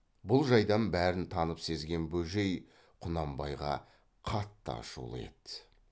бұл жайдан бәрін танып сезген бөжей құнанбайға қатты ашулы еді